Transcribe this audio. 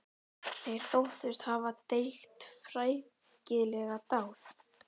Þeir þóttust hafa drýgt frækilega dáð.